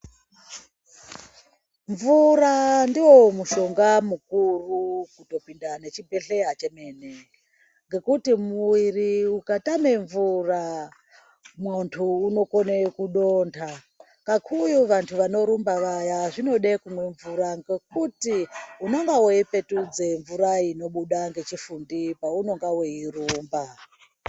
Mvura ndo mushonga mukuru kuto pinda ne chibhedhleya chemene ngekuti muviri uka tame mvura muntu uno kone kudonda ngaku uye vantu vano rumba vaya zvinode kumwe mvura ngekuti unonga wei petudze mvura inobuda ngechi fundi pa unonga wei rumba.